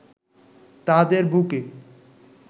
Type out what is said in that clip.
তাদের বুকে